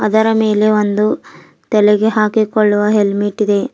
ಇದರ ಮೇಲೆ ಒಂದು ತಲೆಗೆ ಹಾಕಿಕೊಳ್ಳುವ ಹೆಲ್ಮೆಟ್ ಇದೆ.